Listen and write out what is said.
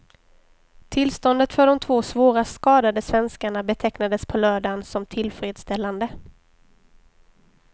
Tillståndet för de två svårast skadade svenskarna betecknades på lördagen som tillfredsställande.